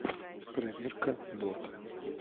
проверка бота